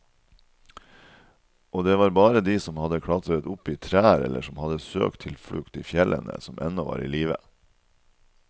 Og det var bare de som hadde klatret opp i trær eller som hadde søkt tilflukt i fjellene, som ennå var i live.